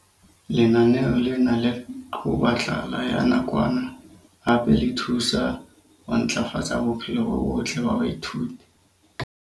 Lenaneo lena le qoba tlala ya nakwana hape le thusa ho ntlafatsa bophelo bo botle ba baithuti.